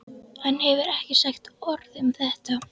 Hann hefur ekki sagt orð um þetta.